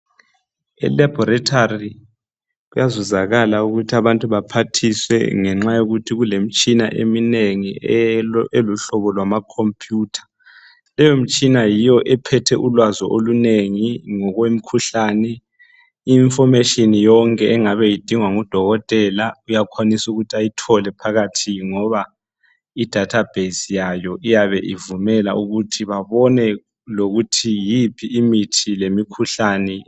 i laboratory kuyazuzakala ukuthi abantu baphathiswe ngenxa yokuthi kulemitshina eminengi eluhlobo lwama computer leyo mitshina yio ephethe ulwazi olunengi ngokwemikhuhlane i information yonke engabe idingwa ngu dokotela uyakhwanisa ukuthi ayithole phakathi ngoba i database yayo iyabe ivumela ukuthi babone lokuthi yiphi imithi lemikhuhlane